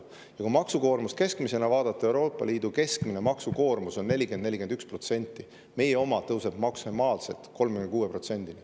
Ja kui vaadata keskmist maksukoormust, siis Euroopa Liidu keskmine maksukoormus on 40–41%, meie oma tõuseb maksimaalselt 36%‑ni.